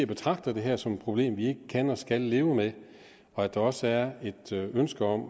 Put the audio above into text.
betragter det her som et problem vi ikke kan og skal leve med og at der også er et ønske om